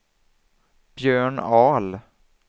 Björn Ahl